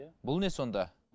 бұл не сонда